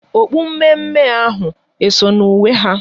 Okpu mme mme ahụ eso na uwe ha?